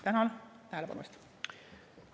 Tänan tähelepanu eest!